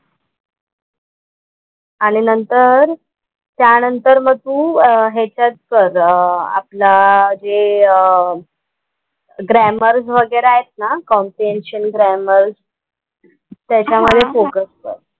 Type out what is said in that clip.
आणि नंतर त्या नंतर मग तू ह्याच्यात कर आपला जे अह ग्रामर वगैरे आहेत ना कॉम्प्रिहेन्शन, ग्रामर त्याच्या मध्ये फोकस कर.